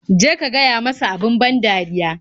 Je ka gaya masa abin ban dariya.